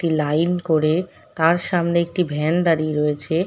একটি লাইন করে তার সামনে একটি ভ্যান দাঁড়িয়ে রয়েছে।